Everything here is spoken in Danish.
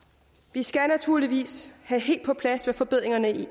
vi skal naturligvis have helt på plads hvad forbedringerne